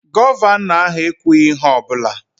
Gọvanọ ahụ ekwughị ihe ọ bụla